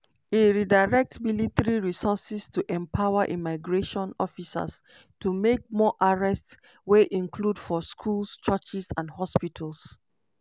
e redirect military resources to empower immigration officers to make more arrests wey include for schools churches and hospitals.